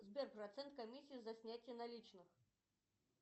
сбер процент комиссии за снятие наличных